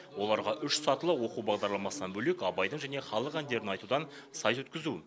оларға үш сатылы оқу бағдарламасынан бөлек абайдың және халық әндерін айтудан сайыс өткізу